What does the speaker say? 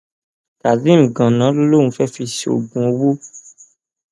kazeem ganan ló lóun fẹẹ fi ṣoògùn owó